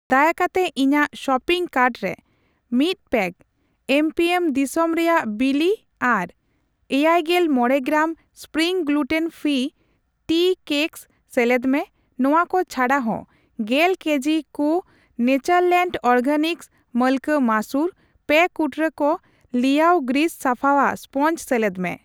ᱫᱟᱭᱟ ᱠᱟᱛᱮ ᱤᱧᱟᱜ ᱥᱚᱯᱤᱝ ᱠᱟᱨᱴ ᱨᱮ ᱢᱤᱛ ᱯᱮᱠ ᱮᱢᱯᱤᱮᱢ ᱫᱤᱥᱚᱢ ᱨᱮᱭᱟᱜ ᱵᱤᱞᱤ ᱟᱨ ᱮᱭᱟᱭᱜᱮᱞ ᱢᱚᱲᱮ gram, gram spring gluten free tea cakes ᱥᱮᱞᱮᱫ ᱢᱮ ᱾ ᱱᱚᱣᱟ ᱠᱚ ᱪᱷᱟᱰᱟ ᱦᱚ, ᱜᱮᱞ ᱠᱮᱡᱤ ᱠᱩ ᱱᱮᱪᱟᱨᱞᱮᱱᱰ ᱚᱨᱜᱮᱱᱤᱠᱥ ᱢᱟᱞᱠᱟ ᱢᱟᱥᱩᱨ, ᱯᱮ ᱠᱩᱴᱨᱟᱹ ᱠᱚ ᱞᱤᱭᱟᱳ ᱜᱨᱤᱥ ᱥᱟᱯᱷᱟᱣᱟᱜ ᱥᱯᱚᱧᱪ ᱥᱮᱞᱮᱫ ᱢᱮ ᱾